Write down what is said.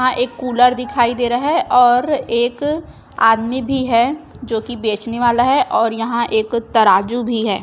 यहाँ एक कूलर दिखाई दे रहा है। और एक आदमी भी है जो की बेचने वाला है। और यहाँ एक तराजू भी है।